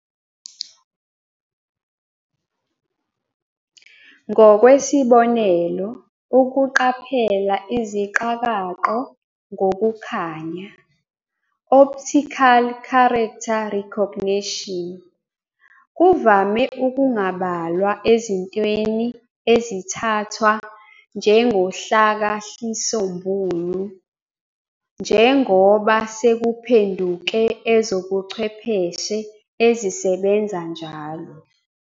Ngokwesibonelo, ukuqaphela iziqakaqo ngokukhanya, optical character recognition," kuvame ukungabalwa ezintweni ezithathwa njengohlakahlisombulu, njengoba sekuphenduke ezobuchwepheshe ezisebenza njalo.